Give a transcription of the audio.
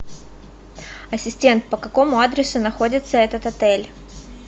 ассистент по какому адресу находится этот отель